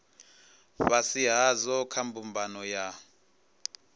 fhasi hadzo kha mbumbano ya